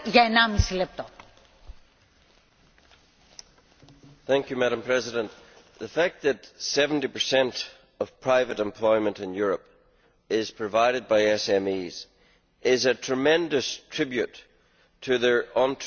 Madam President, the fact that 70 of private employment in Europe is provided by SMEs is a tremendous tribute to their entrepreneurial tenacity, because oppressive